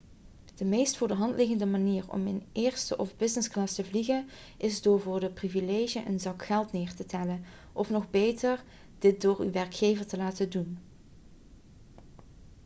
de meest voor de hand liggende manier om in eerste of businessclass te vliegen is door voor dit privilege een zak geld neer te tellen of nog beter dit door uw werkgever te laten doen